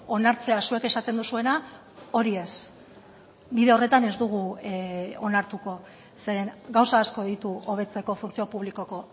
onartzea zuek esaten duzuena hori ez bide horretan ez dugu onartuko zeren gauza asko ditu hobetzeko funtzio publikoko